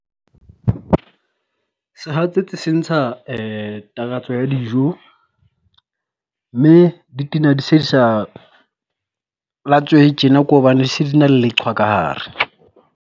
Sehatsetsi se ntsha takatso ya dijo, mme di tena di se di sa lwatsehe tjena ke hobane di se di na le leqhwa ka hare.